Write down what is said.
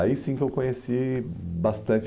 Aí sim que eu conheci bastante.